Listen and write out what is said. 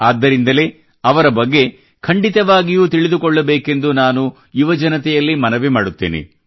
ಆದ್ದರಿಂದಲೇ ಅವರ ಬಗ್ಗೆ ಖಂಡಿತವಾಗಿಯೂ ತಿಳಿದುಕೊಳ್ಳಬೇಕೆಂದು ನಾನು ಯುವಜನತೆಯಲ್ಲಿ ಮನವಿ ಮಾಡುತ್ತೇನೆ